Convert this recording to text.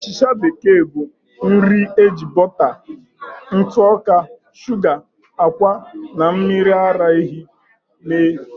Achịcha bekee bụ nri eji bọta, ntụ ọka, shuga, ákwà, na mmiri ara ehi mee.